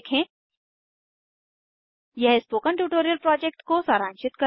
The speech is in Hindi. httpspoken tutorialorgWhat is a Spoken Tutorial यह स्पोकन ट्यूटोरियल प्रोजेक्ट को सारांशित करता है